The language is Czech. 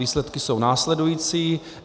Výsledky jsou následující.